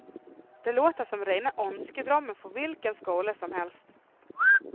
Det låter som rena önskedrömmen för vilken skola som helst.